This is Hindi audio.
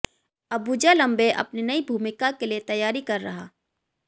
अबुजा लंबे अपनी नई भूमिका के लिए तैयारी कर रहा